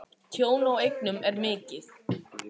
Tjón á eignum er mikið.